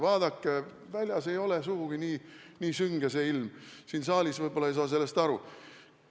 Vaadake, väljas ei ole sugugi nii sünge ilm, siin saalis võib-olla ei saa sellest aru.